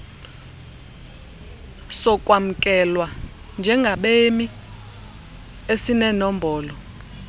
sokwamkelwa njengabemi esinenombolo